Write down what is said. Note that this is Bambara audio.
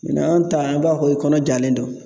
n'an ta an b'a fɔ ko i kɔnɔ jalen don